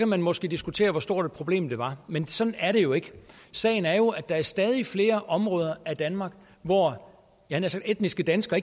man måske diskutere hvor stort et problem det var men sådan er det jo ikke sagen er jo at der er stadig flere områder af danmark hvor etniske danskere